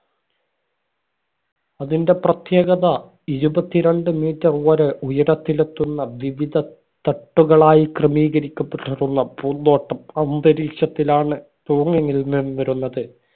അതിന്‍റെ പ്രത്യേകത ഇരുപത്തിരണ്ട് meter വരെ ഉയരത്തിലെത്തുന്ന വിവിധ തട്ടുകളായി ക്രമീകരിയ്ക്കപ്പെട്ടിരുന്ന പൂന്തോട്ടം അന്തരീക്ഷത്തിലാണ് തൂങ്ങി നിന്നിരുന്നത്